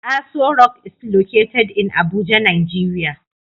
Asorock is located in Abuja Nigeria